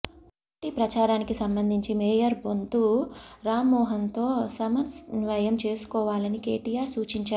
party ప్రచారానికి సంబంధించి mayor Bonthu రామ్మోహన్తో సమ న్వయం చేసుకోవాలని కేటీఆర్ సూచించారు